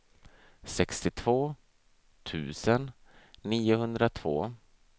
sextiotvå tusen niohundratvå